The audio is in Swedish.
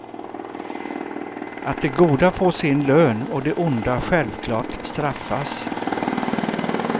Att de goda får sin lön och de onda självklart straffas.